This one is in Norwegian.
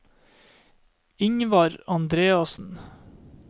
Ingvar Andreassen